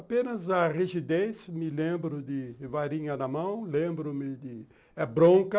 Apenas a rigidez me lembro de varinha na mão, lembro-me de bronca.